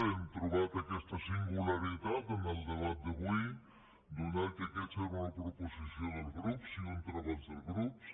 hem trobat aquesta singularitat en el debat d’avui atès que aquesta era una proposició dels grups i un treball dels grups